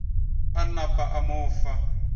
a napa a mo fa